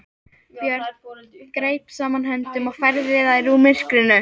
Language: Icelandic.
Björn greip saman höndum og færði þær úr myrkrinu.